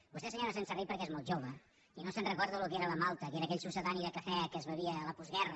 vostè senyora senserrich perquè és molt jove i no se’n recorda del que era la malta que era aquell succedani de cafè que es bevia a la postguerra